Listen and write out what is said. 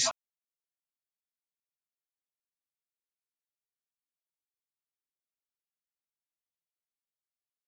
Kristján: Þannig að þið eruð búnir að vera að því hvað í allan dag?